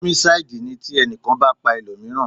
Ómísáídì ní ti ẹnìkan bá pa ẹlòmíràn